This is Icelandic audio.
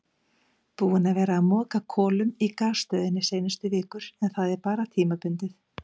Búinn að vera að moka kolum í gasstöðinni seinustu vikur en það er bara tímabundið.